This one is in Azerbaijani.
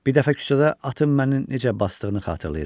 Bir dəfə küçədə atın məni necə basdığını xatırlayıram.